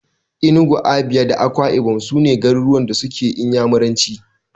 Enugu, Abia, Anambra da Akwai ibom su ne garuruwan da suke Inyamuranci.